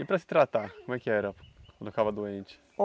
E para se tratar, como é que era quando ficava doente?